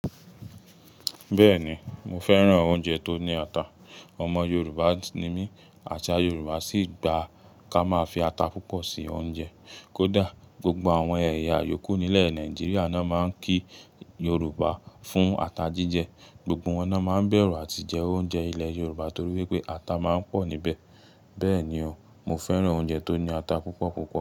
Bẹ́ẹ̀ni, mo fẹ́ràn oúnjẹ tó ní ata. Ọmọ Yorùbá ni mí, àṣà Yorùbá sì gba ká máa fi ata púpọ̀ sí oúnjẹ. Kódà, gbogbo àwọn ẹ̀yà yòókù nílẹ̀ Nàìjíríà lo máa ń kí Yorùbá fún ata jíjẹ. Gbogbo wọn náà máa ń bẹ̀rù àti jẹ oúnjẹ ilẹ̀ Yorùbá torí wípé ata máa ń pọ̀ níbẹ̀. Bẹ́ẹ̀ni o, mo fẹ́ràn oúnjẹ tó ní ata púpọ̀ púpọ̀.